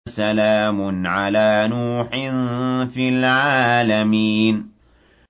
سَلَامٌ عَلَىٰ نُوحٍ فِي الْعَالَمِينَ